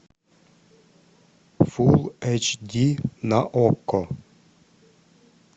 фул эйч ди на окко